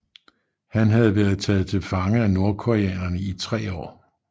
Han havde været taget til fange af nordkoreanerne i tre år